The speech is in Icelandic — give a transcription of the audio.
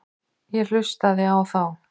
Ég hlustaði á þá.